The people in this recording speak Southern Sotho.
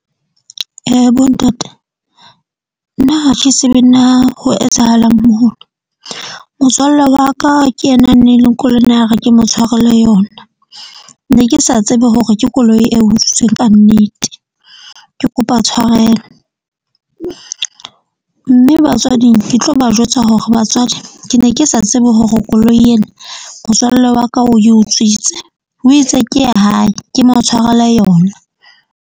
Bontate nna ha ke tsebe na ho etsahalang , motswalle wa ka ke yena neng le a re ke mo tshwarele yona. Ne ke sa tsebe hore ke koloi eo utswitsweng kannete. Ke kopa tshwarelo mme batswading ke tlo ba jwetsa hore batswadi ke ne ke sa tsebe hore koloi ena, motswalle wa ka o e utswitse, o itse ke ya hae ke mo tshwarele yona.